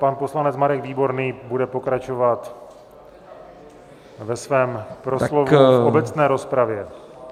Pan poslanec Marek Výborný bude pokračovat ve svém proslovu v obecné rozpravě.